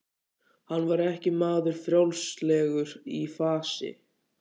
Hann var ekki maður frjálslegur í fasi.